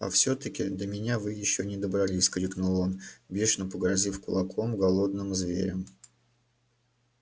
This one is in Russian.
а всё таки до меня вы ещё не добрались крикнул он бешено погрозив кулаком голодным зверям